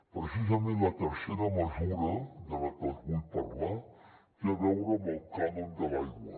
precisament la tercera mesura de la que els vull parlar té a veure amb el cànon de l’aigua